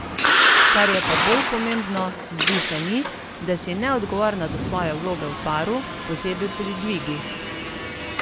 Kar je pa bolj pomembno, zdi se mi, da si neodgovorna do svoje vloge v paru, posebej pri dvigih.